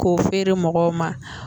K'o feere mɔgɔw ma